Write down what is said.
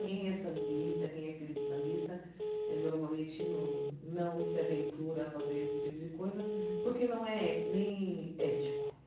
Quem é sambista, quem é filho de sambista, eh normalmente não não se aventura a fazer esse tipo de coisa, porque não é nem ético.